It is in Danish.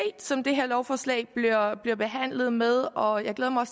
som det her lovforslag bliver behandlet med og jeg glæder mig